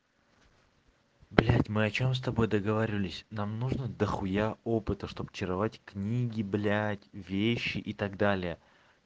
блять мы о чём с тобой договаривались нам нужно до хуя опыта чтобы чаровать книги блять вещи и так далее